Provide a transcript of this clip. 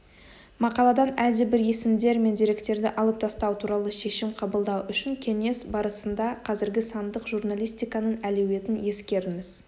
мақаладан әлдебір есімдер мен деректерді алып тастау туралы шешім қабылдау үшін кеңес барысында қазіргі сандық журналистиканың әлеуетін ескеріңіз